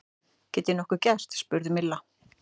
Get ég nokkuð gert? spurði Milla.